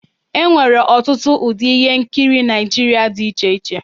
E nwere ọtụtụ ụdị ihe nkiri Naịjirịa dị iche iche.